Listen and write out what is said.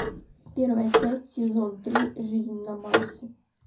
первая часть сезон три жизнь на марсе